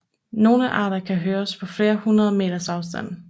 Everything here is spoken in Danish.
Nogle arter kan høres på flere hundrede meters afstand